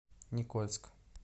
никольск